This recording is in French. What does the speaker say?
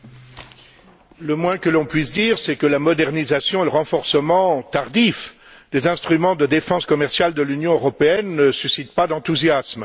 Monsieur le Président, le moins que l'on puisse dire, c'est que la modernisation et le renforcement tardif des instruments de défense commerciale de l'Union européenne ne suscitent pas l'enthousiasme.